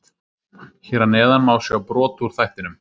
Hér að neðan má sjá brot úr þættinum.